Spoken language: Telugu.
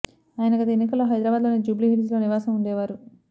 ఆయన గత ఎన్నికల్లో హైదరాబాద్ లోని జూబ్లీహిల్స్ లో నివాసం ఉండేవారు